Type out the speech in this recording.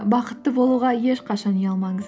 бақытты болуға ешқашан ұялмаңыз